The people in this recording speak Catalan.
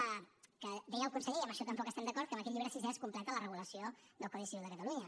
ho deia el conseller i amb això tampoc hi estem d’acord que amb aquest llibre sisè es completa la regulació del codi civil de catalunya